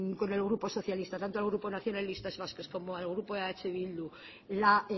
con el grupo socialista tanto el grupo nacionalistas vascos como el grupo de eh bildu la